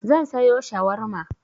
Zan sayo shawarma.